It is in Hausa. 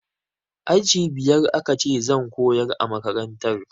Aji biyar aka ce zan koyar a makantar